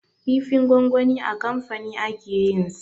Kifin gwangwani a kamfani ake yin sa